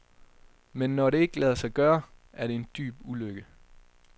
Men når det ikke lader sig gøre, er det en dyb ulykke.